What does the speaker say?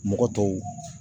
Mɔgɔ tɔw